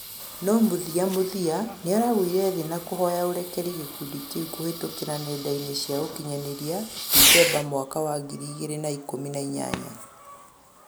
No muthĩamuthĩa nĩaragũĩre thĩ na kũhoya ũrekerĩ gĩkũndĩ kĩũ kuhĩtũkĩra nenda-ĩnĩ cĩa ũkĩnyanĩrĩa, dethemba mwaka wa ngĩrĩ ĩgĩrĩ na ĩkumi na inyanya